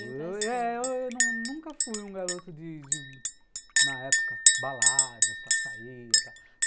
Eu nunca nunca fui um garoto de de, na época, baladas e tal, saía e tal.